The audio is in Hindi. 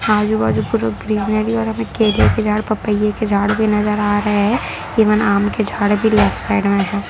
आजु बाजू पूरा ग्रिनरी और हमें केले के झाड़ पापाये के झाड़ भी नजर आ रहे है इवन आम के झाड़ भी लेफ्ट साइड में हैं।